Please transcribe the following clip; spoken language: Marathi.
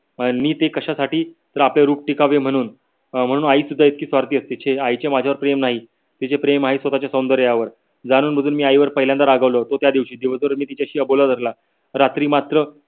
आणि ते कशासाठी तर आपले रूप टिकावे म्हणून. अं आई सुद्धा इतकी स्वार्थी असते छे आईचे माझ्यावर प्रेम नाही तिचे प्रेम आहे स्वतच्या सौंदर्यावर जाणूनबुजून मी आई वर पहिल्यांदा रागावलो होतो त्यादिवशी दिवस भर मी तिच्याशी अबोला धरला रात्री मात्र